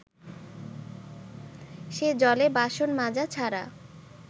সে জলে বাসন মাজা ছাড়া